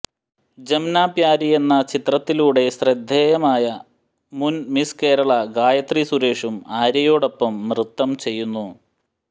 ജംമ്നാപ്യാരി എന്ന ചിത്രത്തിലൂടെ ശ്രദ്ധേയയായ മുന് മിസ് കേരള ഗായത്രി സുരേഷും ആര്യയോടൊപ്പം നൃത്തം ചെയ്യുന്നു